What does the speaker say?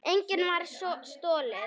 Engu var stolið.